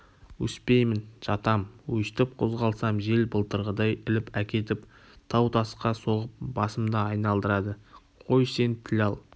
өспеймін жатам өстіп қозғалсам жел былтырғыдай іліп әкетіп тау-тасқа соғып басымды айналдырады қой сен тіл ал